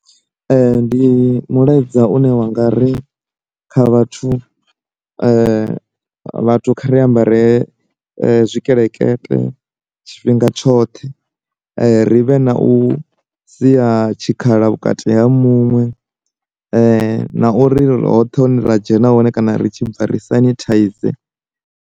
Ndi mulaedza une wanga ri kha vhathu vhathu kha ri ambare tshikelekete tshifhinga tshoṱhe, ri vhe na u sia tshikhala vhukati ha muṅwe, na uri ri hoṱhe hune ra dzhena hone kana ri tshi bva ri sanithaize.